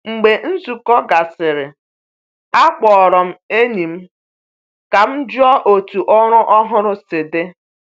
Mgbe nzukọ gasịrị, akpọrọ m enyi m ka m jụọ otu ọrụ ọhụrụ si dị.